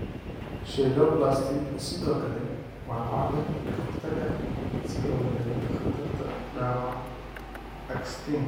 Cheiloplasty sidoo kale waa cabbir ka hortag ah si loo yareeyo khatarta dhaawaca actinik.